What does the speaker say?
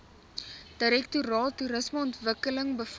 direktoraat toerismeontwikkeling befonds